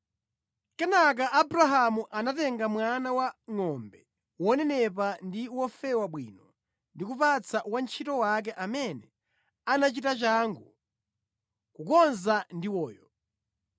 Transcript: Kenaka Abrahamu anakatenga mwana wangʼombe wonenepa ndi wofewa bwino ndi kupatsa wantchito wake amene anachita changu kukonza ndiwoyo.